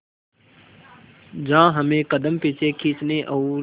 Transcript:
जहां हमें कदम पीछे खींचने और